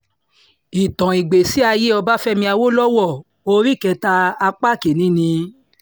ìtàn ìgbésí ayé ọbáfẹ́mi àwòlọ́wọ́ orí kẹta apá kín-ín-ní